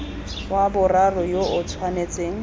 wa boraro yo o tshwanetseng